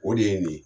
O de ye nin ye